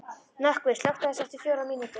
Nökkvi, slökktu á þessu eftir fjórar mínútur.